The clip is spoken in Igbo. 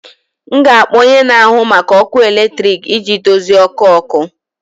M ga-akpọ onye na-ahụ maka ọkụ eletrik iji dozie ọkụ ọkụ